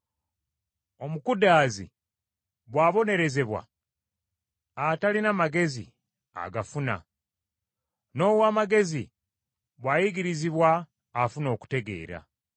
Omukudaazi bw’abonerezebwa, atalina magezi agafuna; n’ow’amagezi bw’ayigirizibwa afuna okutegeera.